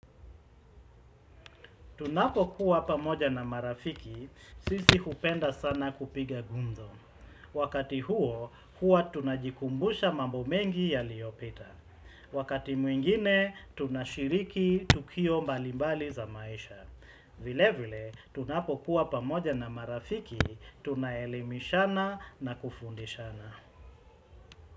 Tunapo kuwa pamoja na marafiki, sisi hupenda sana kupiga gumzo. Wakati huo, huwa tunajikumbusha mambo mengi yaliyopita. Wakati mwingine, tunashiriki tukio mbali mbali za maisha. Vile vile, tunapo kuwa pamoja na marafiki, tunaelemishana na kufundishana.